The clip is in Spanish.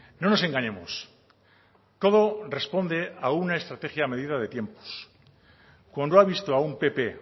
no nos engañemos todo responde a una estrategia medida de tiempos cuando ha visto a un pp